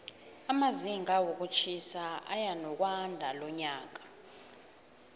amazinga wokutjhisa eyanokwandalonyaka